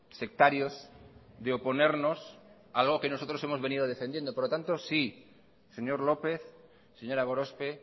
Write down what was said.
sectarios de oponernos algo que nosotros hemos venido defendiendo por lo tanto sí señor lópez señora gorospe